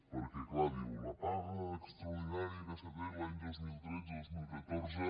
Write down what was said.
perquè clar diu la paga extraordinària que s’ha tret els anys dos mil tretze dos mil catorze